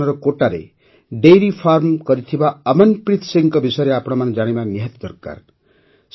ରାଜସ୍ଥାନର କୋଟାରେ dairy farm କରିଥିବା ଅମନ୍ପ୍ରୀତ୍ ସିଂଙ୍କ ବିଷୟରେ ଆପଣମାନେ ଜାଣିବା ନିହାତି ଉଚିତ